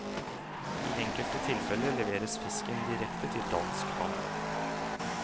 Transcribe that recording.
I enkelte tilfeller leveres fisken direkte til dansk havn.